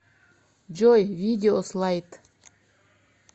джой видео слайд